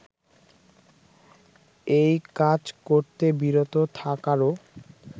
এই কাজ করতে বিরত থাকারও